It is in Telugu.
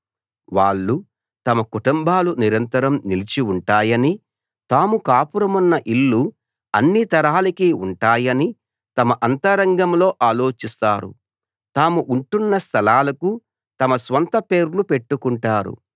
వాళ్ళు తమ కుటుంబాలు నిరంతరం నిలిచి ఉంటాయనీ తాము కాపురమున్న ఇళ్ళు అన్ని తరాలకీ ఉంటాయనీ తమ అంతరంగంలో ఆలోచిస్తారు తాము ఉంటున్న స్థలాలకు తమ స్వంత పేర్లు పెట్టుకుంటారు